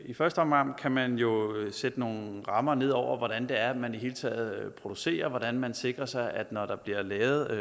i første omgang kan man jo sætte nogle rammer ned for hvordan det er man i det hele taget producerer og hvordan man sikrer sig at det når der bliver lavet